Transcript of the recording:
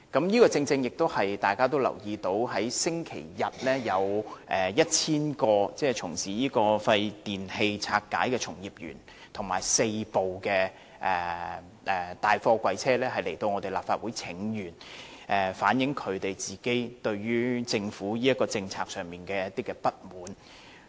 我相信大家也留意到，上星期日有 1,000 名從事廢電器拆解的從業員和4輛大貨櫃車來到立法會請願，反映他們個人對政府這項政策的不滿。